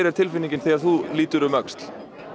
tilfinningin þegar þú lítur um öxl